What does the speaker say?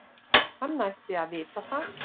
Hann ætti að vita það.